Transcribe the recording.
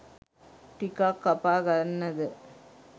ටිකක්‌ කපා ගන්නද